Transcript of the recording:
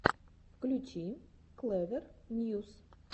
включи клэвер ньюс